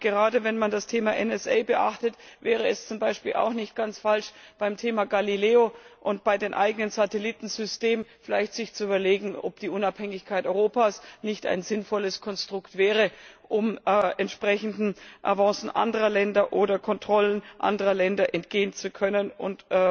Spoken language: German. Gerade, wenn man das Thema NSA beachtet, wäre es zum Beispiel auch nicht ganz falsch, sich vielleicht beim Thema Galileo und bei den eigenen Satellitensystemen zu überlegen, ob die Unabhängigkeit Europas nicht ein sinnvolles Konstrukt wäre, um entsprechenden Avancen anderer Länder oder Kontrollen anderer Länder entgehen zu können und